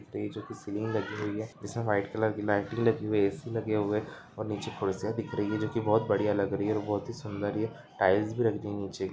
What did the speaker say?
इस में जो की सीडी लगी हुई है इसमें व्हाइट कलर की लाइटिंग लगी हुई है ऐ.सी लगे हुए हैं और नीचे खुर्सियाँ दिख रे है जो की बोहोत बढ़िया लग रही हैं और ये बहोत ही सुंदर है ये टाइल्स भी रख दी है नीचे।